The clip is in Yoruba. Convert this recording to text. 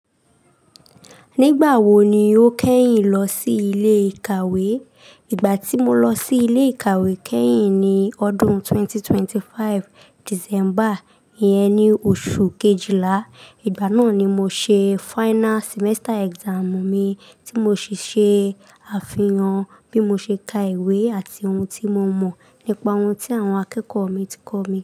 Nígbà wo ni o kẹ́yìn lọ sí ilé ìkàwé? Ìgbà tí mo lọ sí ilé ìkàwé kẹ́yìn ni ọdún 2025, December, ìyẹn ni oṣù Kejìlá. Ìgbà náà ni mo ṣe final semester exam mi tí mo sì ṣe àfihàn bí mo ṣe ka ìwé àti ohun tí mo mọ̀ nípa ohun tí àwọn akẹ́kọ̀ọ́ mi ti kọ́ mi.